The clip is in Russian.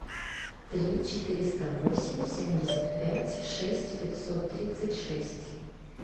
три четыреста восемь семьдесят пять шесть пятьсот тридцать шесть